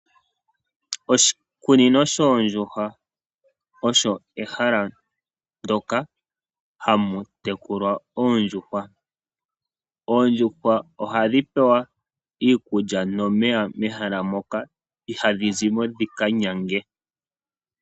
Oshikunino shoondjuhwa osho ehala ndyoka hamu tekulwa oondjuhwa. Oodjuhwa ohadhi pewa iikulya nomeya mehala moka, ihadhi zimo dhi kanyange.